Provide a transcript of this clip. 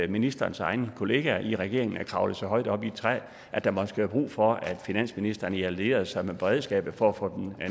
ministerens egne kollegaer i regeringen er kravlet så højt op i et træ at der måske er brug for at finansministeren allierer sig med beredskabet for at få dem